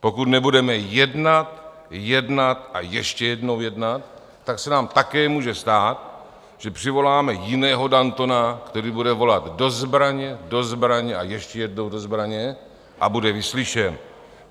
Pokud nebudeme jednat, jednat a ještě jednou jednat, tak se nám také může stát, že přivoláme jiného Dantona, který bude volat: Do zbraně, do zbraně a ještě jednou do zbraně - a bude vyslyšen.